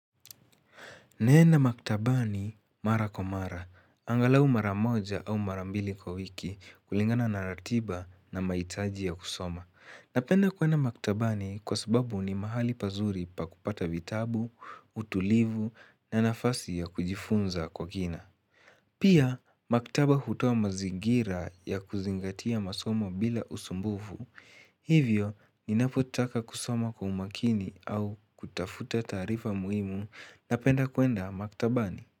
Naenda maktabani mara kwa mara, angalau mara moja au mara mbili kwa wiki kulingana na ratiba na mahitaji ya kusoma. Napenda kuenda maktabani kwa sababu ni mahali pazuri pa kupata vitabu, utulivu na nafasi ya kujifunza kwa kina. Pia, maktaba hutoa mazingira ya kuzingatia masomo bila usumbufu. Hivyo, ninapotaka kusoma kwa umakini au kutafuta taarifa muhimu napenda kuenda maktabani.